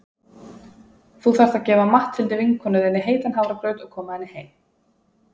Þú þarft að gefa Matthildi vinkonu þinni heitan hafragraut og koma henni heim.